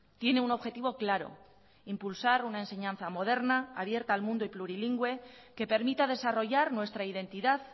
tiene un objetivo claro impulsar una enseñanza moderna abierta al mundo y plurilingüe que permita desarrollar nuestra identidad